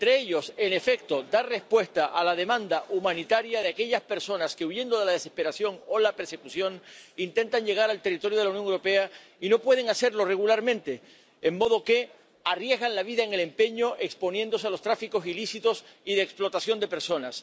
Entre ellos, en efecto, dar respuesta a la demanda humanitaria de aquellas personas que, huyendo de la desesperación o la persecución, intentan llegar al territorio de la Unión Europea y no pueden hacerlo regularmente, de modo que arriesgan la vida en el empeño, exponiéndose a los tráficos ilícitos y de explotación de personas.